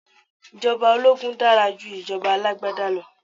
Ìjọba ológun dára ju ìjọba alágbádá lọ